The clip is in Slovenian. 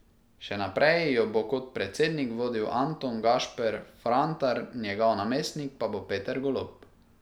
Še naprej jo bo kot predsednik vodil Anton Gašper Frantar, njegov namestnik pa bo Peter Golob.